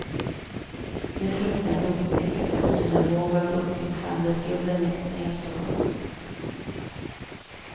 Nu fruktar dopingexperter en våg av dopingfall där skulden läggs på hälsokost.